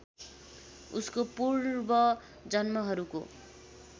उसको पूर्व जन्महरूको